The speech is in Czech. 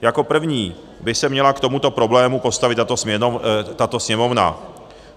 Jako první by se měla k tomuto problému postavit tato Sněmovna.